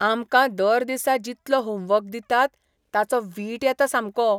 आमकां दर दिसा जितलो होमवर्क दितात, ताचो वीट येता सामको.